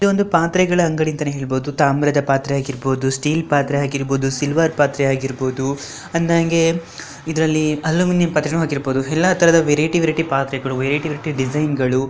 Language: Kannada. ಇದು ಒಂದು ಪಾತ್ರೆಗಳ ಅಂಗಡಿಗಳು ಅಂತ ಹೇಳಬಹುದು ತಾಮ್ರದ ಪಾತ್ರೆ ಆಗಿರ್ಬಹುದು ಸ್ಟೀಲ್ ಪತ್ರೆ ಹಾಗಿರಬಹುದು ಸಿಲ್ವರ್ ಪತ್ರೆ ಆಗಿರ್ಬಹುದು ಅಂದಂಗೆ ಇದರಲ್ಲಿ ಅಲ್ಯೂಮಿನಿಯಂ ಪಾತ್ರೆನೂ ಆಗಿರ್ಬಹುದು ಎಲ್ಲ ತರದ ಪಾತ್ರೆಗಳು ವರೆಯುತ್ಯ್ ವರೆಇಟಿ ಡಿಸೈನ್ಗಳು .